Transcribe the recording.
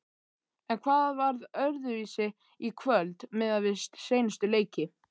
En hvað var öðruvísi í kvöld miðað við seinustu leiki?